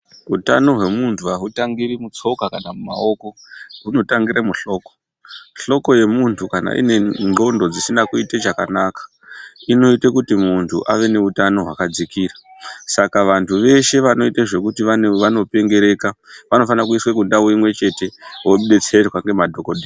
Hutano hwemuntu hautangiri mumatsoka kana mumaoko hunotangira muhloko, hloko yemuntu kana ine ngonhlondo dzisina kuita chakanaka inoita kuti muntu ave nehutano hwakadzikira Saka vantu veshe vanoita zvekuti vanopengereka vanofana kuiswa kundau imwe chete vodetserwa nemadhokoteya.